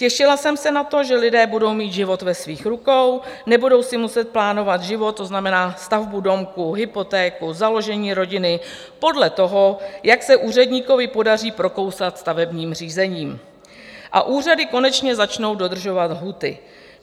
Těšila jsem se na to, že lidé budou mít život ve svých rukou, nebudou si muset plánovat život, to znamená stavbu domku, hypotéku, založení rodiny, podle toho, jak se úředníkovi podaří prokousat stavebním řízením, a úřady konečně začnou dodržovat lhůty.